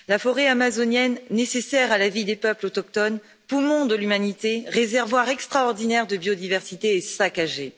La forêt amazonienne, nécessaire à la vie des peuples autochtones, poumon de l'humanité, réservoir extraordinaire de biodiversité est saccagée.